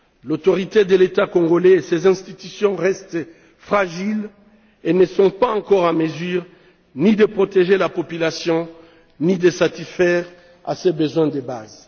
L'autorité de l'État congolais et ses institutions restent fragiles et ne sont pas encore en mesure ni de protéger la population, ni de satisfaire à ses besoins de base.